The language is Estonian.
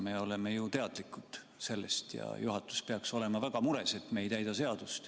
Me oleme ju teadlikud sellest ja juhatus peaks olema väga mures, et me ei täida seadust.